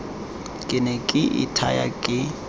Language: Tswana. ke ne ke ithaya ke